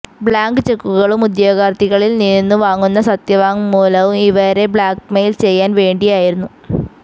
blank ചെക്കുകളും ഉദ്യോഗാർഥികളിൽനിന്നു വാങ്ങുന്ന സത്യവാങ്മൂലവും ഇവരെ ബ്ലാക്ക്മെയിൽ ചെയ്യാൻ വേണ്ടിയായിരുന്നു